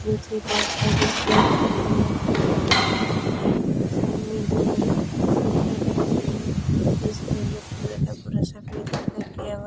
पीछे बहुत सारी बेंच पड़ी है कुर्सियां पड़ी हैं सामने दो लगे हुए हैं इसके अंदर पूरा का पूरा सफेद कलर किया हुआ --